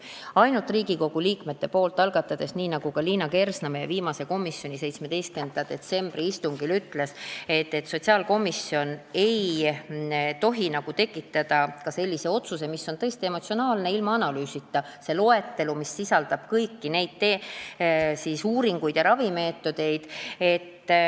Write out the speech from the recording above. Kui eelnõu on algatanud Riigikogu liikmed, siis nii nagu Liina Kersna komisjoni 17. detsembri istungil ütles, ei tohi sotsiaalkomisjon tekitada sellist otsust, mis on tõesti emotsionaalne ja ilma analüüsita, esitades loetelu, mis sisaldab kõiki neid uuringuid ja ravimeetodeid.